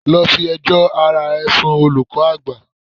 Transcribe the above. Go and report yourself to the head master.